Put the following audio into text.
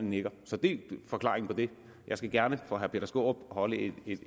nikker så det er forklaringen på det jeg skal gerne for herre peter skaarup holde et